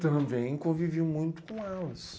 Também convivi muito com elas.